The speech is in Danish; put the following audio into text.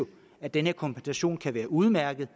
at den her kompensation kan være udmærket